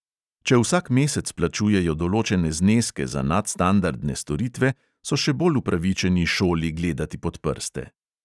Če vsak mesec plačujejo določene zneske za nadstandardne storitve, so še bolj upravičeni šoli gledati pod prste.